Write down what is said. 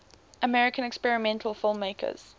american experimental filmmakers